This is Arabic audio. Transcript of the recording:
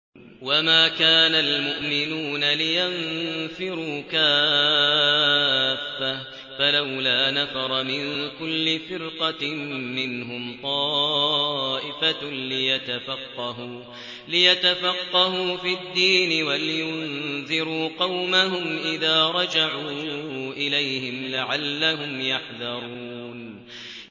۞ وَمَا كَانَ الْمُؤْمِنُونَ لِيَنفِرُوا كَافَّةً ۚ فَلَوْلَا نَفَرَ مِن كُلِّ فِرْقَةٍ مِّنْهُمْ طَائِفَةٌ لِّيَتَفَقَّهُوا فِي الدِّينِ وَلِيُنذِرُوا قَوْمَهُمْ إِذَا رَجَعُوا إِلَيْهِمْ لَعَلَّهُمْ يَحْذَرُونَ